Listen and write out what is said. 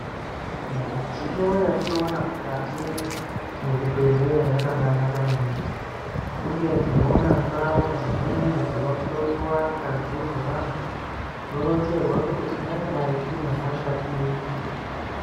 Midziyo yatinoona mukati mezvibhedhlera yakabanaka maningi uye tinoona ndauya dzimweni dzinohloiwa ngazi dzevantu toronzerwa kuti tingadai time hosha iri.